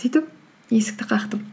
сөйтіп есікті қақтым